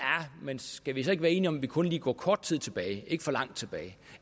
men skal vi så ikke være enige om at vi kun lige går kort tid tilbage ikke for langt tilbage